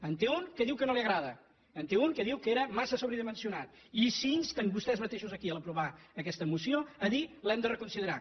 en té un que diu que no li agrada en té un que diu que era massa sobredimensionat i s’insten vostès mateixos aquí a l’aprovar aquesta moció a dir l’hem de reconsiderar